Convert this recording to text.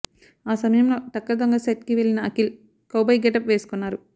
ఆ సమయంలో టక్కరి దొంగ సెట్ కి వెళ్ళిన అఖిల్ కౌ బాయ్ గెటప్ వేసుకున్నారు